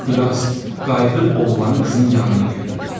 Xülasə, qayıdıb oğlanı qızın yanına göndərir.